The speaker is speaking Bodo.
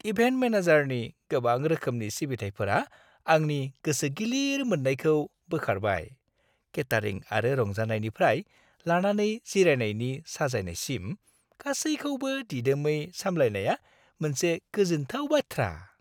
इभेन्ट मेनेजारनि गोबां रोखोमनि सिबिथाइफोरा आंनि गोसो गिलिर मोननायखौ बोखारबाय-केटारिं आरो रंजानायनिफ्राय लानानै जिरायनायनि साजायनायसिम; गासैखौबो दिदोमै सामलायनाया मोनसे गोजोनथाव बाथ्रा।